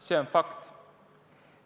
See on fakt.